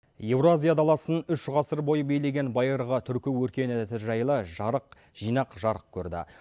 еуразия даласын үш ғасыр бойы билеген байырғы түркі өркениеті жайлы жарық жинақ жарық көрді